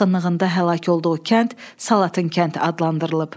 Yaxınlığında həlak olduğu kənd Salatın kənd adlandırılıb.